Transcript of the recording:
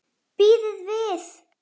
Bíðið við!